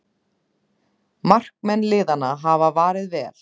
Markmenn liðanna hafa varið vel